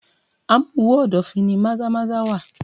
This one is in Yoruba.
Amuwo-odofin ni Maza-Maza wà.